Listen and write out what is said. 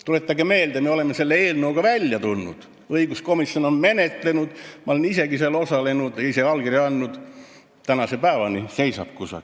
Tuletage meelde, et me oleme selle eelnõuga välja tulnud, õiguskomisjon on seda menetlenud, olen isegi seal osalenud, ise allkirja andnud, aga tänase päevani seisab see kusagil.